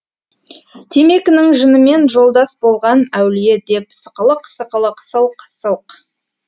темекінің жынымен жолдас болған әулие деп сықылық сықылық сылқ сылқ